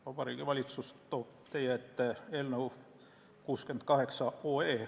Vabariigi Valitsus toob teie ette otsuse eelnõu nr 68.